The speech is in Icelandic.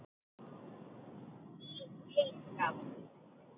Í heyskap